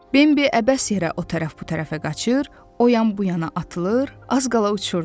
Bembi əbəs yerə o tərəf bu tərəfə qaçır, oyan-buyana atılır, az qala uçurdu.